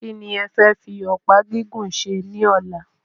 Kí ni e fe fi ọ̀pá gígùn ṣe ní ọ̀la?